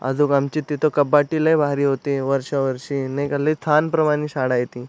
आजोबांची तिथ कपाटी लय भारी होती वर्षो वर्षी नाही का लय छान शाळा ये तिथ --